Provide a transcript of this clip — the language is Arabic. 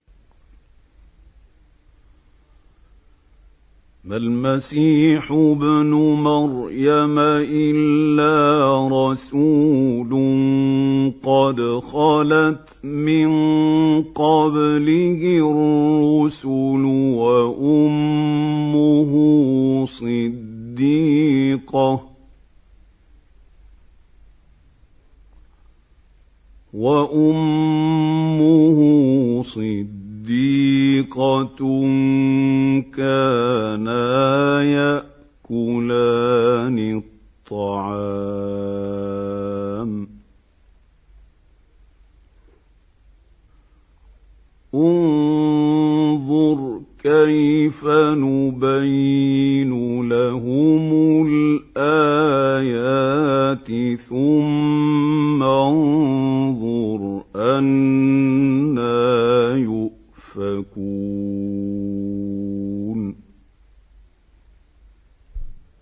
مَّا الْمَسِيحُ ابْنُ مَرْيَمَ إِلَّا رَسُولٌ قَدْ خَلَتْ مِن قَبْلِهِ الرُّسُلُ وَأُمُّهُ صِدِّيقَةٌ ۖ كَانَا يَأْكُلَانِ الطَّعَامَ ۗ انظُرْ كَيْفَ نُبَيِّنُ لَهُمُ الْآيَاتِ ثُمَّ انظُرْ أَنَّىٰ يُؤْفَكُونَ